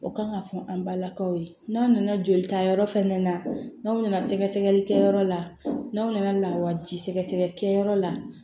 O kan ka fɔ an balakaw ye n'a nana joli ta yɔrɔ fɛnɛ na n'aw nana sɛgɛsɛgɛli kɛ yɔrɔ la n'aw nana lawaji sɛgɛ sɛgɛlikɛyɔrɔ la